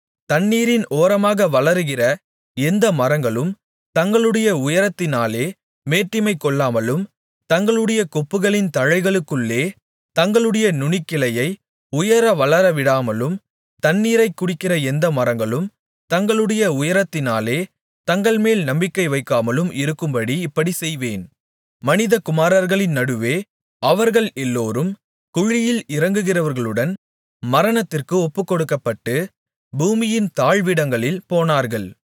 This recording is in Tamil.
தண்ணீரின் ஓரமாக வளருகிற எந்த மரங்களும் தங்களுடைய உயரத்தினாலே மேட்டிமை கொள்ளாமலும் தங்களுடைய கொப்புகளின் தழைக்குள்ளே தங்களுடைய நுனிக்கிளையை உயர வளரவிடாமலும் தண்ணீரைக் குடிக்கிற எந்த மரங்களும் தங்களுடைய உயரத்தினாலே தங்கள்மேல் நம்பிக்கைவைக்காமலும் இருக்கும்படி இப்படிச் செய்வேன் மனிதகுமாரர்களின் நடுவே அவர்கள் எல்லோரும் குழியில் இறங்குகிறவர்களுடன் மரணத்திற்கு ஒப்புக்கொடுக்கப்பட்டு பூமியின் தாழ்விடங்களில் போனார்கள்